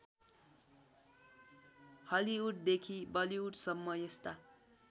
हलिउडदेखि बलिउडसम्म यस्ता